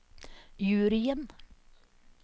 juryen